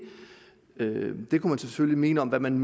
og man selvfølgelig mene om hvad man